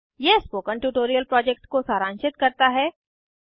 यह spoken tutorial project को सारांशित करता है